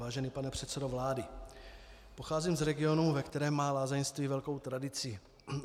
Vážený pane předsedo vlády, pocházím z regionu, ve kterém má lázeňství velkou tradici.